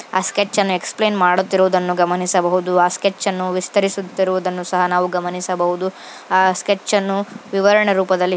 ಆ ಸ್ಕೆಚ್ ಅನ್ನು ಎಕ್ಸ್ಪ್ಲೈನ್ ಮಾಡುತ್ತಿರುವುದನ್ನು ಗಮನಿಸಬಹುದು. ಆ ಸ್ಕೆಚ್ ಅನ್ನು ವಿಸ್ತರಿಸುತ್ತಿರುವುದನ್ನು ಸಹ ನಾವು ಗಮನಿಸಬಹುದು. ಆ ಸ್ಕೆಚ್ ಅನ್ನು ವಿವರಣೆ ರೂಪದಲ್ಲಿ--